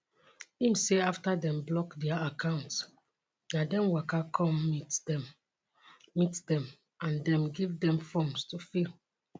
im say afta dem block dia accounts na dem waka come meet dem meet dem and dem give dem forms to fill